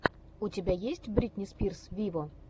у тебя есть бритни спирс виво